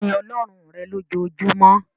Sin Ọlọ́run rẹ̀ lojoojumọ́!